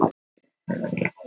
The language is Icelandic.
Óbreytt staða krónunnar